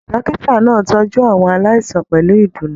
Dókítà náà tọjú àwọn aláìsàn pẹlú ìdùnnú.